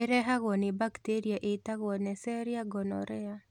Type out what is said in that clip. ĩrehagwo nĩ bacteria ĩĩtagwo Nesseria gonorrhoeae